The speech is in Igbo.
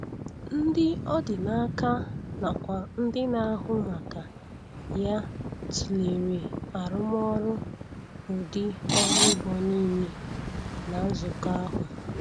Ndị ọ dị n'aka nakwa ndị na-ahụ maka ya tụlere arụmọrụ ụdị ọrụ ugbo niile na nzukọ ahụ.